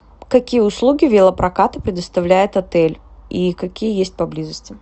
какие услуги велопроката предоставляет отель и какие есть поблизости